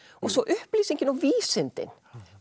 og svo upplýsingin og vísindin